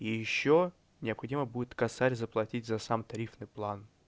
и ещё необходимо будет косарь заплатить за сам тарифный план